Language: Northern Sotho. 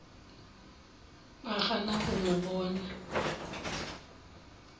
ba gana go no bona